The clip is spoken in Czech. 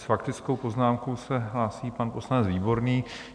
S faktickou poznámkou se hlásí pan poslanec Výborný.